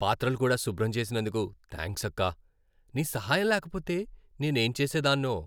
పాత్రలు కూడా శుభ్రం చేసినందుకు థ్యాంక్స్ అక్కా. నీ సహాయం లేకపోతే నేనేం చేసేదాన్నో.